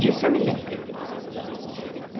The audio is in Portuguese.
Disso eu me lembro.